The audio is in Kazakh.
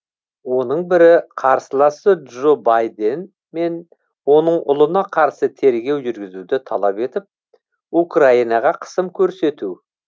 оның бірі қарсыласы джо байден мен оның ұлына қарсы тергеу жүргізуді талап етіп украинаға қысым көрсету